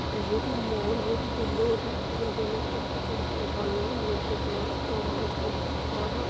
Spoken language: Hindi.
कम से कम क व्यवस्था ह एकदम अन्हार ह।